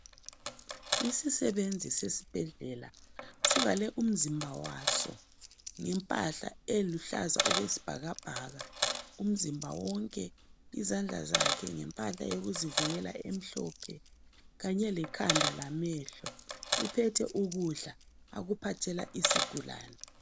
Isisebenzi sesibhedlela sivale umzimba waso ngempahla eluhlaza okwesibhakabhaka umzimba wonke, izandla zakhe ngempahla yokuzivikela emhlophe kanye lekhanda lamehlo. Uphethe ukudla akupathela izigulane.